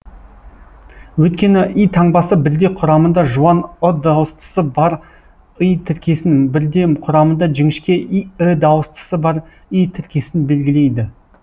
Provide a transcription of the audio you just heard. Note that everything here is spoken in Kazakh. өйткені и таңбасы бірде құрамында жуан ы дауыстысы бар ый тіркесін бірде құрамында жіңішке і дауыстысы бар ій тіркесін белгілейді